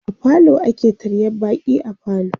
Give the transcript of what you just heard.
a falo ake taryar baƙi a falo